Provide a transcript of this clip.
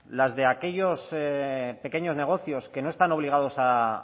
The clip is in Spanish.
las de aquellos de pequeños negocios que no están obligados a